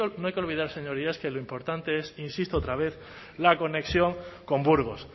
no hay que olvidar señorías que lo importante es insisto otra vez la conexión con burgos